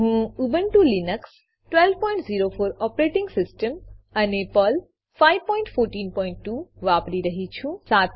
હું Ubuntu Linux 1204 operating system અને Perl 5142 વાપરી રહ્યી છું